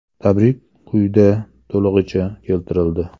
Tabrik quyida to‘lig‘icha keltirildi.